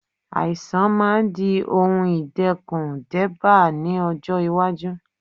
Àìsàn máa di ohun ìdẹ́kun débá ní ọjọ́ iwájú.